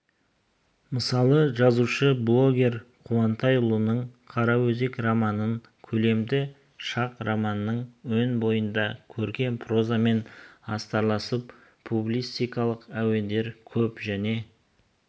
мысалы жазушы бельгер қуантайұлының қараөзек романын көлемі шақ романның өн бойында көркем прозамен астарласып публицистикалық әуендер көп және